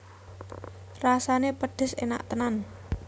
Rasané pedhes enak tenan